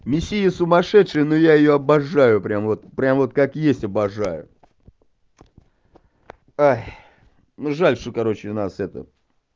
миссия сумасшедшая но я её обожаю прямо вот прямо вот как есть обожаю ой ну жаль что короче у нас это